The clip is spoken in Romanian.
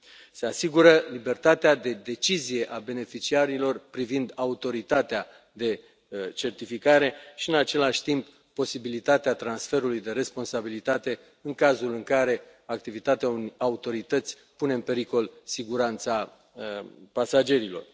Se asigură libertatea de decizie a beneficiarilor privind autoritatea de certificare și, în același timp, posibilitatea transferului de responsabilitate în cazul în care activitatea unei autorități pune în pericol siguranța pasagerilor.